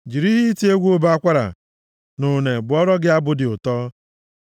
jiri ihe iti egwu ụbọ akwara na une bụọrọ gị abụ dị ụtọ.